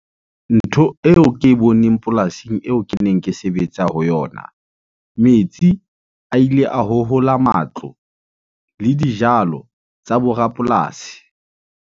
Ntho eo ke e boneng polasing eo ke neng ke sebetsa ho yona. Metsi a ile a hohola matlo le dijalo tsa bo rapolasi.